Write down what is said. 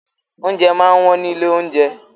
Oúnjẹ máa ń wọ́n ní ilé-oúnjẹ.